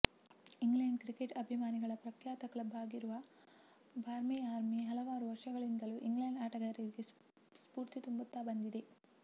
England cricket ಅಭಿಮಾನಿಗಳ ಪ್ರಖ್ಯಾತ club ಆಗಿರುವ ಬಾರ್ಮಿ ಆರ್ಮಿ ಹಲವಾರು ವರ್ಷಗಳಿಂದಲೂ ಇಂಗ್ಲೆಂಡ್ ಆಟಗಾರರಿಗೆ ಸ್ಪೂರ್ತಿ ತುಂಬುತ್ತಾ ಬಂದಿದೆ